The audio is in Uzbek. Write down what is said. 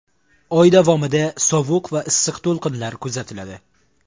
Oy davomida sovuq va issiq to‘lqinlar kuzatiladi.